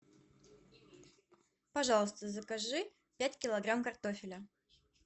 пожалуйста закажи пять килограмм картофеля